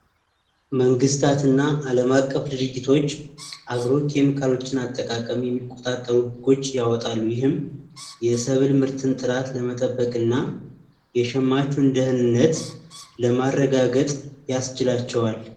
መንግስታትና ዓለም አቀፍ ድርጅቶች አግሮ ኬሚካሎች አጠቃቀም የሚቆጣጠሩ ህጎችን ያወጣሉ። ይህም የሰብል ምርቶችን ጥራት ለመጠበቅና የሸማቹን ደህንነት ለማረጋገጥ ያስችላቸዋል።